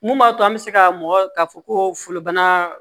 Mun b'a to an bɛ se ka mɔgɔ ka fɔ ko folobana